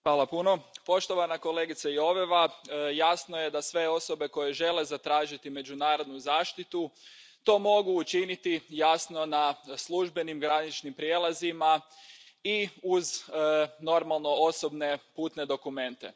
Poštovani predsjedavajući, poštovana kolegice Joveva, jasno je da sve osobe koje žele zatražiti međunarodnu zaštitu to mogu učiniti, jasno, na službenim graničnim prijelazima i uz, normalno, osobne putne dokumente.